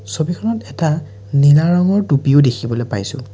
ছবিখনত এটা নীলা ৰঙৰ টুপিও দেখিবলে পাইছোঁ।